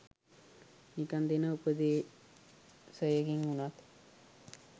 නිකන් දෙන උපදේසයකින් උනත්